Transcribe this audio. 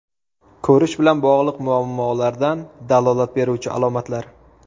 Ko‘rish bilan bog‘liq muammolardan dalolat beruvchi alomatlar.